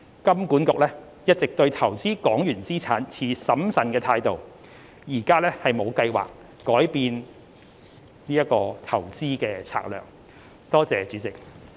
金管局一直對投資港元資產持審慎態度，現無計劃改變其投資策略。